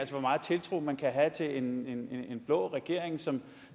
meget tiltro man kan have til en blå regering som